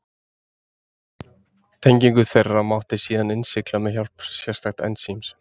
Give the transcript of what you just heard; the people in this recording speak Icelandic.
tengingu þeirra mátti síðan innsigla með hjálp sérstaks ensíms